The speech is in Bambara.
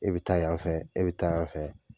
E bɛ taa yan fɛ, e bɛ taa yan fɛ,